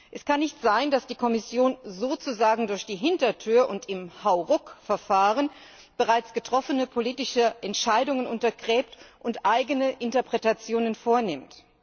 Es kann nicht sein, dass die Kommission sozusagen durch die Hintertür und im Hauruck Verfahren bereits getroffene politische Entscheidungen untergräbt und eigene Interpretationen vornimmt.